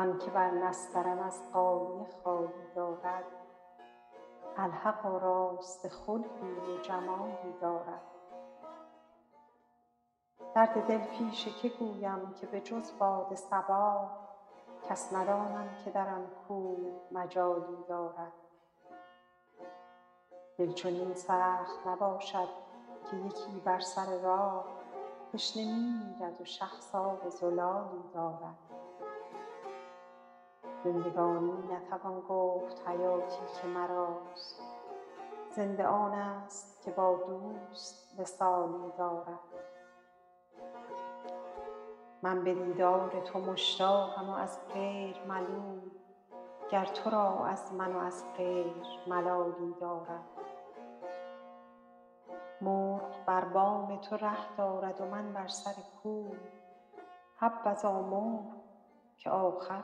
آن که بر نسترن از غالیه خالی دارد الحق آراسته خلقی و جمالی دارد درد دل پیش که گویم که به جز باد صبا کس ندانم که در آن کوی مجالی دارد دل چنین سخت نباشد که یکی بر سر راه تشنه می میرد و شخص آب زلالی دارد زندگانی نتوان گفت و حیاتی که مراست زنده آنست که با دوست وصالی دارد من به دیدار تو مشتاقم و از غیر ملول گر تو را از من و از غیر ملالی دارد مرغ بر بام تو ره دارد و من بر سر کوی حبذا مرغ که آخر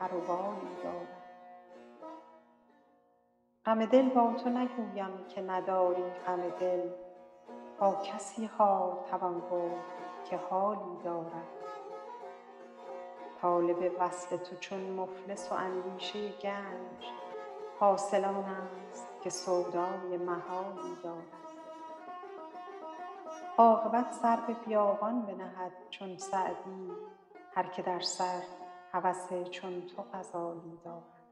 پر و بالی دارد غم دل با تو نگویم که نداری غم دل با کسی حال توان گفت که حالی دارد طالب وصل تو چون مفلس و اندیشه گنج حاصل آنست که سودای محالی دارد عاقبت سر به بیابان بنهد چون سعدی هر که در سر هوس چون تو غزالی دارد